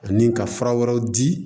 Ani ka fura wɛrɛw di